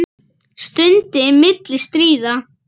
Stund milli stríða.